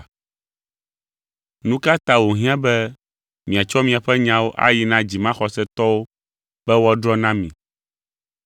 Nu ka ta wòhiã be miatsɔ miaƒe nyawo ayi na dzimaxɔsetɔwo be woadrɔ̃ na mi?